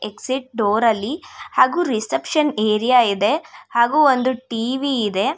Exit door ಅಲ್ಲಿ ಹಾಗು reception area ಇದೆ ಹಾಗು ಒಂದು ಟಿ_ವಿ ಇದೆ.